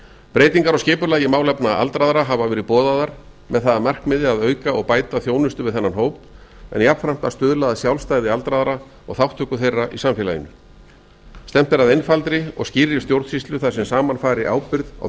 breytingar á skipulagi í málefnum aldraðra hafa verið boðaðar með það að markmiði að auka og bæta þjónusta við þennan hóp en jafnframt að stuðla að sjálfstæði aldraðra og þátttöku þeirra í samfélaginu stefnt er að einfaldri og skýrri stjórnsýslu þar sem saman fari ábyrgð á